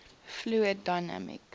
fluid dynamics